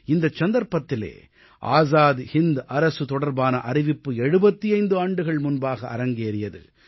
இந்த சந்தர்ப்பத்திலே ஆஸாத் ஹிந்த் அரசு தொடர்பான அறிவிப்பு 75 ஆண்டுகள் முன்பாக அரங்கேறியது